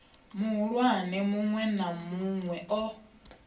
muhulwane munwe na munwe o